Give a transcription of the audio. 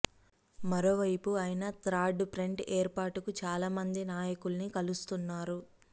మరోవైపు ఆయన third front ఏర్పాటుకు చాలా మంది నాయకుల్ని కలుస్తున్నారు